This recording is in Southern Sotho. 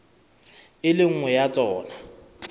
le e nngwe ya tsona